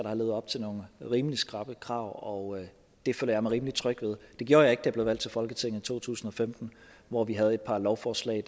har levet op til nogle rimelig skrappe krav og det føler jeg mig rimelig tryg ved det gjorde jeg ikke da jeg blev valgt til folketinget i to tusind og femten hvor vi havde et par lovforslag